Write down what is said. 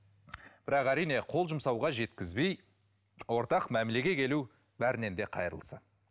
бірақ әрине қол жұмсауға жеткізбей ортақ мәмілеге келу бәрінен де қайырлысы